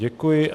Děkuji.